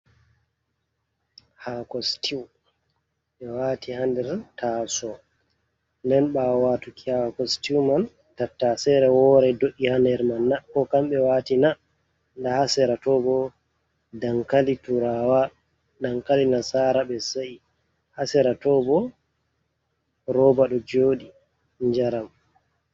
Haako sitiw ɓe waati haa nder taaso nden ɓaawo waatuki haako sitiw man tattasere woore do’'i haa nder man na? koo kamɓe waati na? Ndaa haa sera to boo dankali turaawa dankali nasaara ɓe sa'i, haa sera too boo rooba do jodi jaram